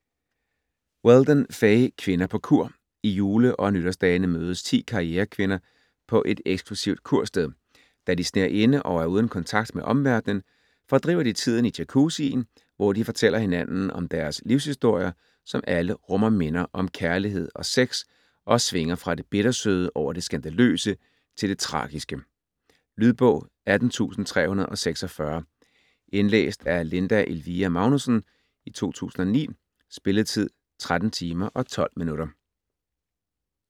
Weldon, Fay: Kvinder på kur I jule- og nytårsdagene mødes ti karrierekvinder på et eksklusivt kursted. Da de sner inde og er uden kontakt med omverdenen, fordriver de tiden i jacuzzien, hvor de fortæller hinanden deres livshistorier, som alle rummer minder om kærlighed og sex og svinger fra det bittersøde over det skandaløse til det tragiske. Lydbog 18346 Indlæst af Linda Elvira Magnussen, 2009. Spilletid: 13 timer, 12 minutter.